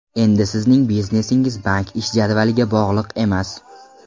Endi Sizning biznesingiz bank ish jadvaliga bog‘liq emas.